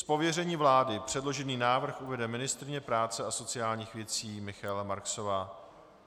Z pověření vlády předložený návrh uvede ministryně práce a sociálních věcí Michaela Marksová.